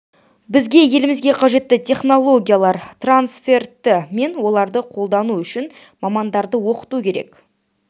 бізге елімізге қажетті технологиялар трансферті мен оларды қолдану үшін мамандарды оқыту керек